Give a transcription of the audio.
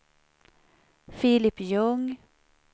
Filip Ljung